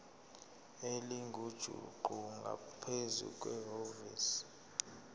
elingujuqu ngaphezu kwevoti